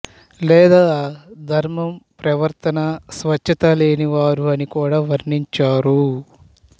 లేదా ధర్మం ప్రవర్తనా స్వచ్ఛత లేనివారు అని కూడా వర్ణించారు